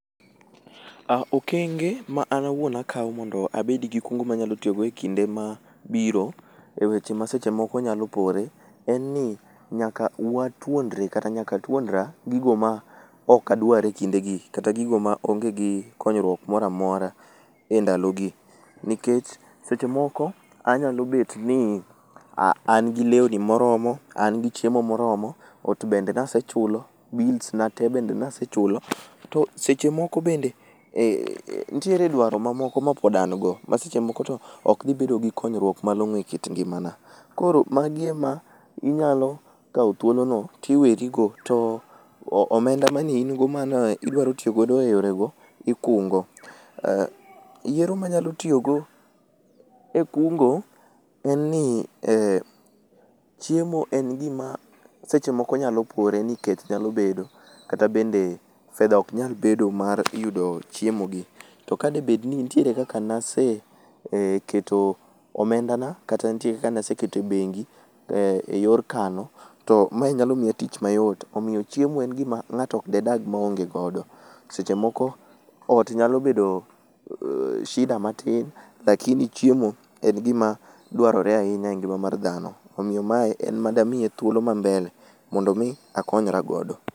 Okenge ma an awuon akawo mondo abed gi kungo manyalo tiyogo e kinde ma biro e weche ma seche moko nyalo pore, en ni nyaka watwonre kata nyaka atwonra gigo ma okadwar e kinde gi kata gigo ma onge gi konyruok moramora e ndalogi. Nikech seche moko anyalobet ni an gi lewni moromo, an gi chiemo moromo, ot bende nasechulo, bills na te bende nasechulo. To sechemoko bende nitiere dwaro mamoko ma pond an go, ma sechemoko to okdhibedo gi konyruok malong'o e kit ngimana. Koro magi ema inyalo kawo thuolono tiwerigo, to omenda mane in go maneidwaro tiyogodo e yorego tikungo. Yiero manyalo tiyogo e kungo en ni chiemo en gima seche moko nyalo pore nikech nyalo bedo kata bende fedha oknyal bedo mar yudo chiemo gi. To kadebed ni nitie kaka nase keto omendana kata nitie kaka naseketo e bengi e yor kano, to mae nyalo miya tich mayot. Omiyo chiemo en gima ng'at ok dedag maonge godo. Seche moko, ot nyalo bedo shida matin, lakini chiemo en gima dwarore ahinya e ngima mar dhano. Omiyo mae en madamiye thuolo ma mbele mondo mi akonyra godo.